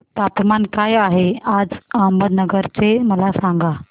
तापमान काय आहे आज अहमदनगर चे मला सांगा